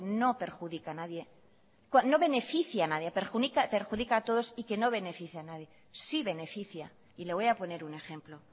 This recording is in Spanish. no beneficia a nadie perjudica a todos y que no beneficia a nadie sí beneficia y le voy a poner un ejemplo